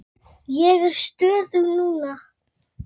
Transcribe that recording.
Ég er stöðug núna.